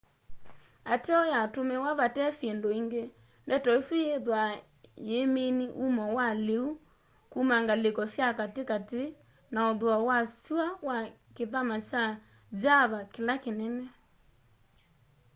ateo yatumiwa vate syindu ingi ndeto isu yithwaa yiimini umo wa liu kuma ngaliko sya katikati na uthuo wa syua wa kithama kya java kila kinene